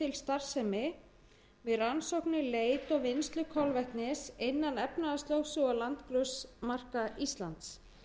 starfsemi við rannsóknir leit og vinnslu kolvetnis innan efnahagslögsögu og landgrunnsmarka íslands